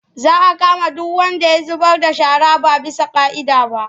Za a kama duk wanda ya zubar da shara ba bisa ƙa'ida ba.